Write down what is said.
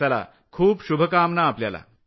चला खूप शुभकामना आपल्याला